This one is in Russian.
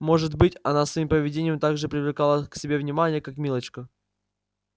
может быть она своим поведением так же привлекала к себе внимание как милочка